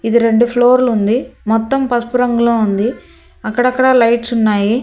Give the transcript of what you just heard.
ఇది రెండు ఫ్లొర్లు ఉంది మొత్తం పసుపు రంగులో ఉంది అక్కడక్కడ లైట్స్ ఉన్నాయి.